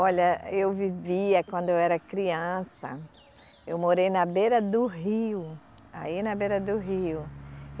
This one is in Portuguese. Olha, eu vivia, quando eu era criança, eu morei na beira do rio, aí na beira do rio.